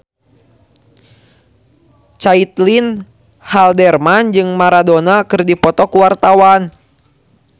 Caitlin Halderman jeung Maradona keur dipoto ku wartawan